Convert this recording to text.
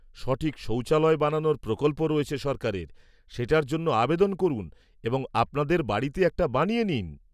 -সঠিক শৌচালয় বানানোর প্রকল্প রয়েছে সরকারের, সেটার জন্য আবেদন করুন এবং আপনাদের বাড়িতে একটা বানিয়ে নিন।